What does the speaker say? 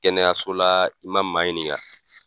Kɛnɛyaso la i ma maa ɲinika.